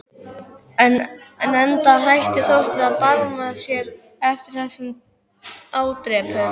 Enda hætti Þorsteinn að barma sér eftir þessa ádrepu.